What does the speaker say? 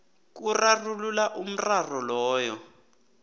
kurarulula umraro loyo